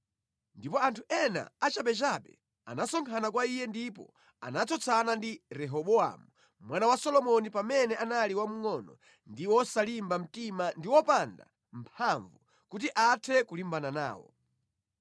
Ndipo anthu ena achabechabe anasonkhana kwa iye ndipo anatsutsana ndi Rehobowamu mwana wa Solomoni pamene anali wamngʼono ndi wosalimba mtima ndi wopanda mphamvu kuti athe kulimbana nawo.